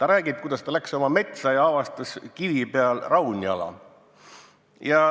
Ta räägib, kuidas ta läks oma metsa ja avastas kivi peal raunjala.